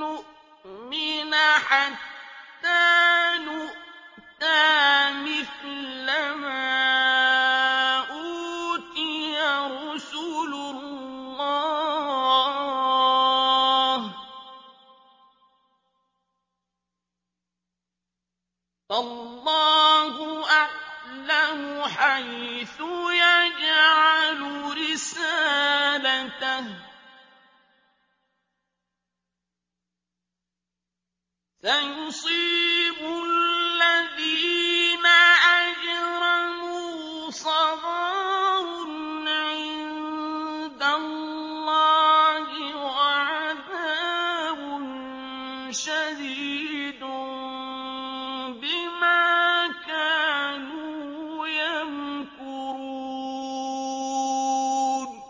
نُّؤْمِنَ حَتَّىٰ نُؤْتَىٰ مِثْلَ مَا أُوتِيَ رُسُلُ اللَّهِ ۘ اللَّهُ أَعْلَمُ حَيْثُ يَجْعَلُ رِسَالَتَهُ ۗ سَيُصِيبُ الَّذِينَ أَجْرَمُوا صَغَارٌ عِندَ اللَّهِ وَعَذَابٌ شَدِيدٌ بِمَا كَانُوا يَمْكُرُونَ